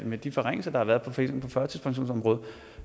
med de forringelser der har været på førtidspensionsområdet